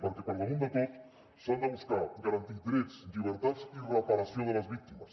perquè per damunt de tot s’ha de buscar garantir drets llibertats i reparació de les víctimes